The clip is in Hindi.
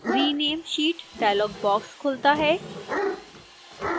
rename sheet dialog box खुलता है